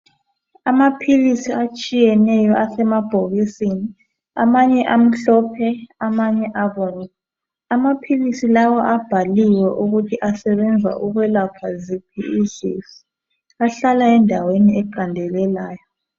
Amaphilisi etshiyeneyo isemabhokisini amanye amhlophe amanye abomvu .Amaphilisi lawa abhaliwe ukuthi asebenza ukwelapha ziphi izifo. Ahlala endaweni eqandelelayo.